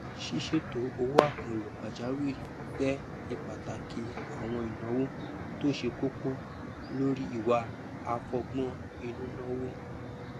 sísètò owó àkànlò pàjàwìrì fẹ ìpàtàkì àwọn ìnáwó tó ṣe kókó lórí ìwà àfọgbọn inú nàwó